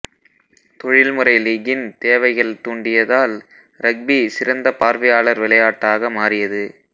தொழில்முறை லீக்கின் தேவைகள் தூண்டியதால் ரக்பி சிறந்த பார்வையாளர் விளையாட்டாக மாறியது